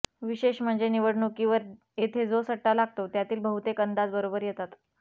विशेष म्हणजे निवडणुकीवर येथे जो सट्टा लागतो त्यातील बहुतेक अंदाज बरोबर येतात